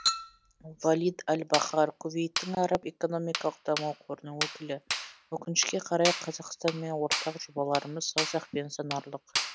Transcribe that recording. валид аль бахар кувейттің араб экономикалық даму қорының өкілі өкініше қарай қазақстанмен ортақ жобаларымыз саусақпен санарлық